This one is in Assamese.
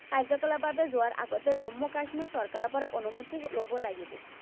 কাৰ্য্যকলাপলৈ যোৱাৰ আগতে জম্মু কাশ্মীৰ চৰকাৰৰ পৰা অনুমতি লব লাগিব।